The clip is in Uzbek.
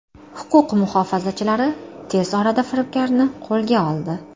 Huquq muhofazachilari tez orada firibgarni qo‘lga oldi.